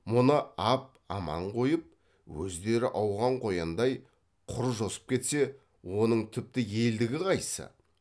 мұны ап аман қойып өздері ауған қояндай құр жосып кетсе оның тіпті елдігі қайсы